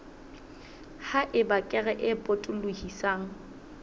ha eba kere e potolohisang